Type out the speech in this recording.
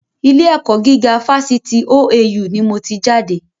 Ilé ẹ̀kọ́ gíga fásitì OAU ni mo ti jáde